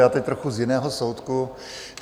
Já teď trochu z jiného soudku.